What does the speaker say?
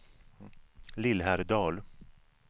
Lillhärdal